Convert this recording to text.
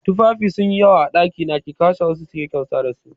Tufafi sun yi yawa a ɗakina, ki kwashe wasu kiyi kyauta dasu